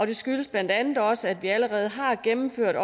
det skyldes blandt andet også at vi allerede har gennemført